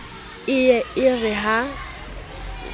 e ye e re ha